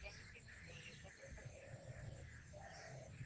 я не применил её к этой проблеме